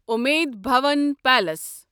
Umaid Bhawan palace